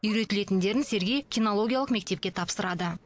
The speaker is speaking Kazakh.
үйретілетіндерін сергей кинологиялық мектепке тапсырады